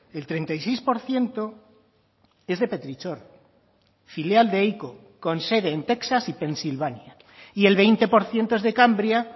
el treinta y seis por ciento es de petrichor filial de ico con sede en texas y pensilvania y el veinte por ciento es de cambria